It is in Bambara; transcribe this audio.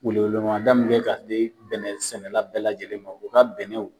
Welemada min kɛ ka se bɛnɛ sɛnɛla bɛɛ lajɛlen ma u ka bɛnɛw